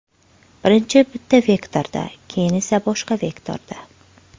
Birinchi bitta vektorda, keyin esa boshqa vektorda.